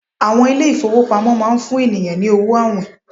àwọn ilé ifowópamọ́ ma n fún ènìyàn ni owo awìn